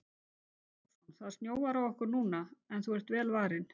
Björn Þorláksson: Það snjóar á okkur núna en þú ert vel varin?